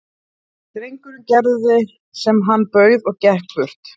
Drengurinn gerði sem hann bauð og gekk burt.